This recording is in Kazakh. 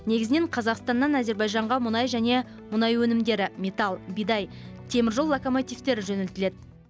негізінен қазақстаннан әзербайжанға мұнай және мұнай өнімдері металл бидай теміржол локомотивтері жөнелтіледі